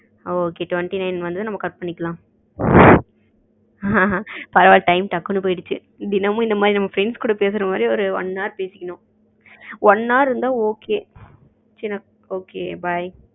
okay twenty nine வருது நம்ம cut பண்ணிக்கலாம் time டக்குனு போய்டுச்சு தினமும் இந்த மாரி நம்ம friends கூட பேசுற மாரி ஒரு one hours பேசிக்கணும் one hour இருந்தா okay bye